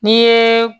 N'i yeee